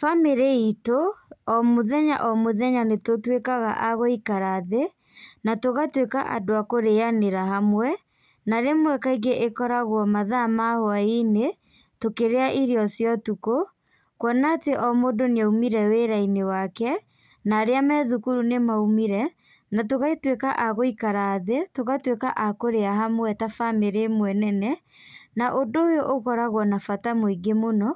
Bamĩrĩ itũ, o mũthenya o mũthenya nĩtũtuĩkaga a gũikara thĩ, natũgatuĩka andũ a kũrĩanĩra hamwe, na rĩmwe kaingĩ ĩkoragwo mathaa ma hwainĩ, tũkĩrĩa irio cia ũtukũ, kuona atĩ o mũndũ nĩaumire wĩrainĩ wake, na arĩa me thukuru nĩmaumire, na tũgatuĩka a gũikara thĩ, tũgatuĩaka a kũrĩa hamwe ta bamĩrĩ ĩmwe nene, na ũndũ ũyũ ũkoragwo na bata mũingĩ mũno,